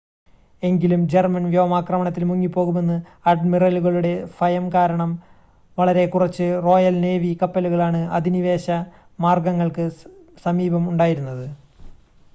എങ്കിലും ജർമ്മൻ വ്യോമാക്രമണത്തിൽ മുങ്ങിപ്പോകുമെന്ന് അഡ്മിറലുകളുടെ ഫയം കാരണം വളരെ കുറച്ച് റോയൽ നേവി കപ്പലുകളാണ് അധിനിവേശ മാർഗങ്ങൾക്ക് സമീപം ഉണ്ടായിരുന്നത്